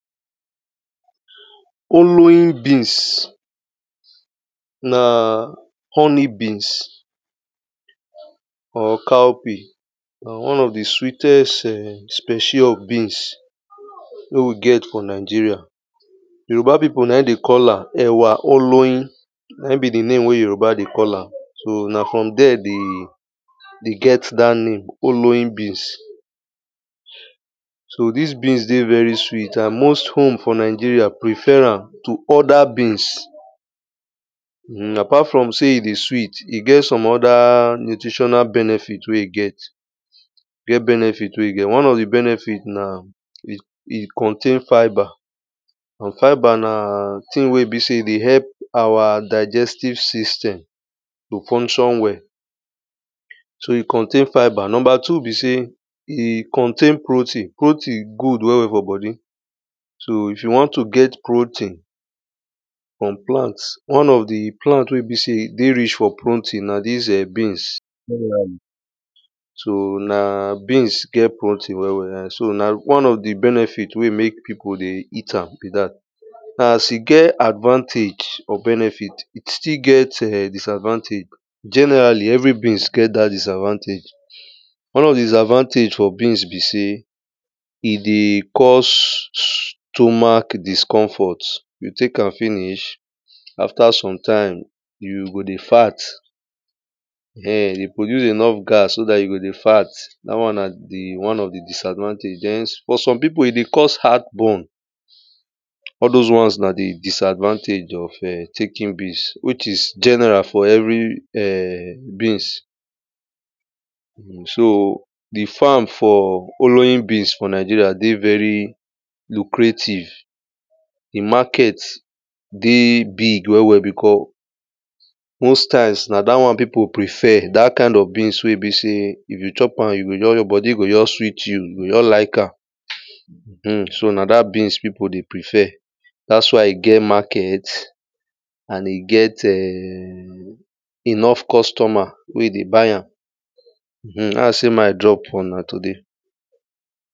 Oloyin beans na honey beans or cowpea. Na one of the sweetest specie of beans wey we get for Nigeria. Yoruba people na dey call ewa oloyin Naim be the name wey yoruba dey call am. So na for there they dey get that name oloyin beans So this beans dey very sweet, and most home for Nigeria prefer am to other beans um apart from sey e dey sweet, e get some other nutritional benefit wey e get E get benefit wey e get. One of the benefit na, e ,e contain fibre And fibre na tin wey be sey e dey help our digestive system to function well So e contain fibre. Number two be sey e contain protein. Protein good well well for body So if you wan to get protein from plant, one of the plant wey be sey dey rich for protein na this um beans So na beans get protein well well and so na one of the benefit wen make people dey eat am be that so As e get advantage or benefit, e still get um disadvantage. Generally every beans get that disadvantage One of the disadvantage for beans be sey, e dey cause stomach discomfort. You take am finish After some time you go dey fart um dey produce enough gas so that you go dey fart that one na the, one of the disadvantage. Then for some people e dey cause heart burn All those one na the disadvantage of um taking beans which is general for every um beans um So the farm for Oloyin beans for Nigeria dey very lucrative The market dey big well well because Most times na that one people prefer, that kind of beans wey be sey if you chop am you go just, your body go just sweet you. You go just like am um so na that beans people dey prefer. That's why e get market And e get um enough customers wey dey buy am um na i sey make i drop for una today